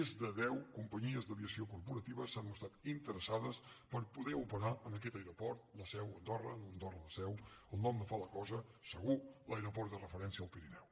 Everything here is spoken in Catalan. més de deu companyies d’aviació corporativa s’han mostrat interessades per poder operar en aquest aeroport la seu andorra andorra la seu el nom no fa la cosa segur l’aeroport de referència al pirineu